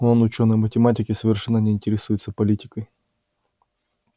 он учёный математик и совершенно не интересуется политикой